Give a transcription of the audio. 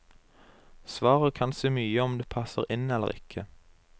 Svaret kan si mye om du passer inn eller ikke.